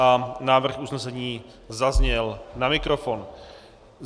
A návrh usnesení zazněl na mikrofon.